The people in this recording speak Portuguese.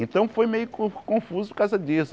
Então foi meio con confuso por causa disso.